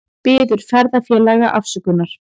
Biður ferðafélaga afsökunar